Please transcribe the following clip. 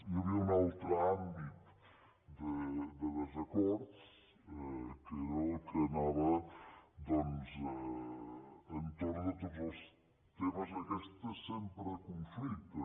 hi havia un altre àmbit de desacord que era el que ana·va doncs entorn de tots els temes aquests sempre de conflicte